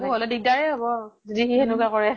বাবু হʼলে দিগদাৰে হʼব, যদি সি সেনেকুৱা কৰে ।